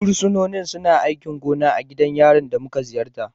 Fursunonin suna aikin gona a gidan yarin da muka ziyarta.